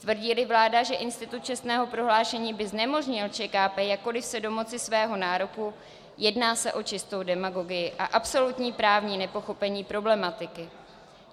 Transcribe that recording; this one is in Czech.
Tvrdí-li vláda, že institut čestného prohlášení by znemožnil ČKP jakkoliv se domoci svého nároku, jedná se o čistou demagogii a absolutní právní nepochopení problematiky.